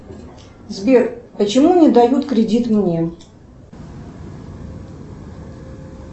сбер почему не дают кредит мне